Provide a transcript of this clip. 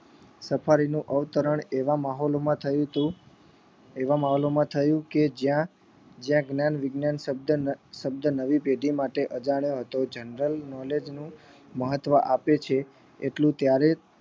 safari નું અવતરણ એવા માહોલ માં થયેલું છે એવા મહાલો માં થયું કે જ્યાં જ્યાં જ્ઞાન વિજ્ઞાન શબ્દ શબ્દ નવી પેઢી માટે અજાણ્યો હતો general knowledge નું મહત્વ આપે છે એટલું ત્યારે જ